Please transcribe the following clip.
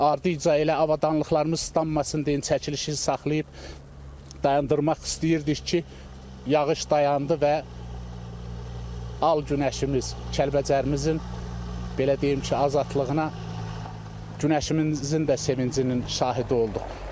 Ardınca elə avadanlıqlarımız islanmasın deyən çəkilişi saxlayıb dayandırmaq istəyirdik ki, yağış dayandı və al günəşimiz Kəlbəcərimizin belə deyim ki, azadlığına günəşimizin də sevincinin şahidi olduq.